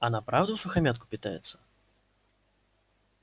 она правда всухомятку питается